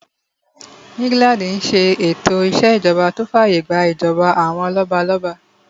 England n ṣe ètò ìṣèjọba tó fàyè gbà ìjọba àwọn lọ́balọ́ba